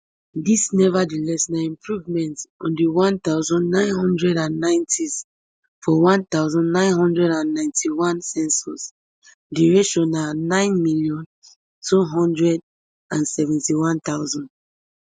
dis nevertheless na improvement on di one thousand, nine hundred and nineties for one thousand, nine hundred and ninety-one census di ratio na nine million, two hundred and seventy-one thousand